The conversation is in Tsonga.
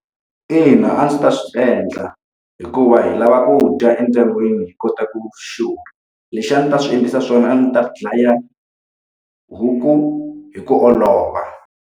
Ina a ndzi ta swi endla, hikuva hi lava ku dya endyangwini hi kota ku xurha. Leswi a ndzi ta swi endlisa swona a ndzi ta dlaya huku hi ku olova.